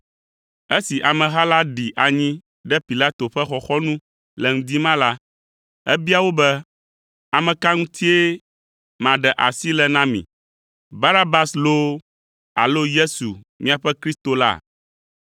Esi ameha la ɖi anyi ɖe Pilato ƒe xɔxɔnu le ŋdi ma la, ebia wo be, “Ame ka ŋutie maɖe asi le na mi? Barabas loo alo Yesu, miaƒe Kristo la?”